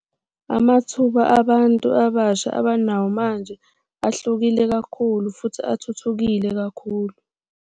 Amathuba abantu abasha abanawo manje ahlukile kakhulu futhi athuthukile kakhulu.